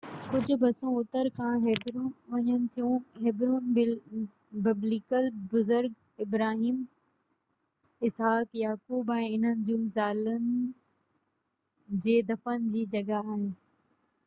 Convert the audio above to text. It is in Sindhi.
ڪجهہ بسون جيڪي اتر کان هيبرون وڃن ٿيون هيبرون ببليکل بزرگ ابراهيم اسحاق يعقوب ۽ انهن جون زالن جي دفن جي جڳهہ آهي